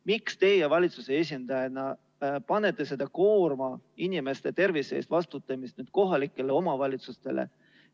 Miks teie valitsuse esindajana panete koorma inimeste tervise eest vastutamisel kohalikele omavalitsustele?